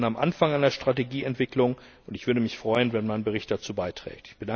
Wir stehen am Anfang einer Strategieentwicklung, und ich würde mich freuen, wenn mein Bericht dazu beiträgt.